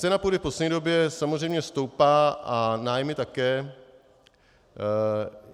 Cena půdy v poslední době samozřejmě stoupá a nájmy také.